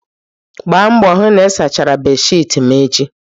Gbaa mbọ hụ na ị sachara bedsheeti m echi.